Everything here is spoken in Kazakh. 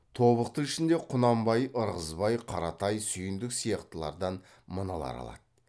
тобықты ішінде құнанбай ырғызбай қаратай сүйіндік сияқтылардан мыналар алады